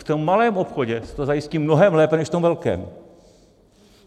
V tom malém obchodě se to zajistí mnohem lépe než v tom velkém.